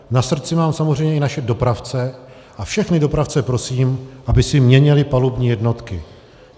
Na srdci mám samozřejmě i naše dopravce a všechny dopravce prosím, aby si měnili palubní jednotky.